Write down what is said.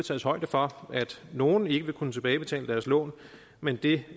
tages højde for at nogle ikke vil kunne tilbagebetale deres lån men det